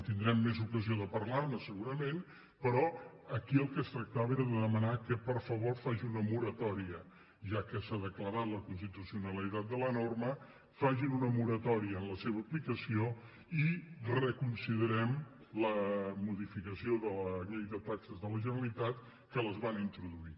tindrem més ocasió de parlar ne segurament però aquí del que es tractava era de demanar que per favor facin una moratòria ja que s’ha declarat la constitucionalitat de la norma en la seva aplicació i reconsiderem la modificació de la llei de taxes de la generalitat que les va introduir